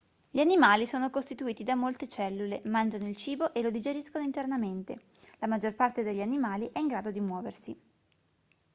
gli animali sono costituiti da molte cellule mangiano il cibo e lo digeriscono internamente la maggior parte degli animali è in grado di muoversi